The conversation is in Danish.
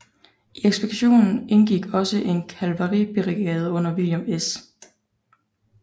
I ekspeditionen indgik også en kavaleribrigade under William S